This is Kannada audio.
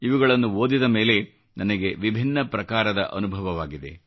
ಇವುಗಳನ್ನು ಓದಿದ ಮೇಲೆ ನನಗೆ ವಿಭಿನ್ನ ಪ್ರಕಾರದ ಅನುಭವವಾಗಿದೆ